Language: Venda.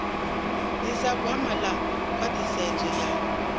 ḓisa gwama ḽa khwaṱhisedzo ya